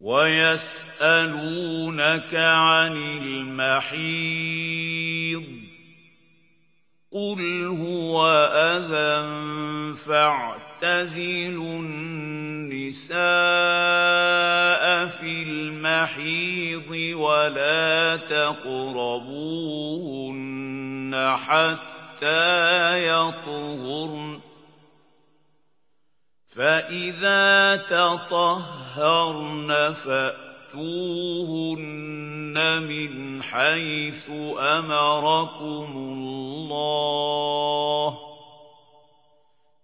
وَيَسْأَلُونَكَ عَنِ الْمَحِيضِ ۖ قُلْ هُوَ أَذًى فَاعْتَزِلُوا النِّسَاءَ فِي الْمَحِيضِ ۖ وَلَا تَقْرَبُوهُنَّ حَتَّىٰ يَطْهُرْنَ ۖ فَإِذَا تَطَهَّرْنَ فَأْتُوهُنَّ مِنْ حَيْثُ أَمَرَكُمُ اللَّهُ ۚ